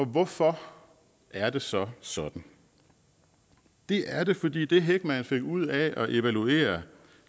hvorfor er det så sådan det er det fordi det heckman fik ud af at evaluere